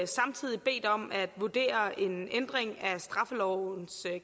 samtidig bedt om at vurdere en ændring af straffelovens